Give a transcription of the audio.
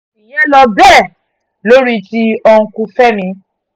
ìyẹn ló bẹ́ẹ̀ lórí ti uncle fẹ́mi